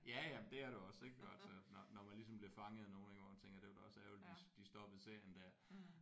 Ja ja men det er det også ik altså når når man ligesom bliver fanget af nogle ik hvor man tænker det var da også ærgerligt at de de stoppede serien der